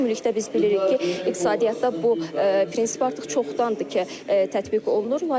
Ümumilikdə biz bilirik ki, iqtisadiyyatda bu prinsip artıq çoxdandır ki, tətbiq olunur.